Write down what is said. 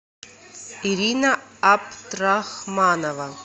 ирина абдрахманова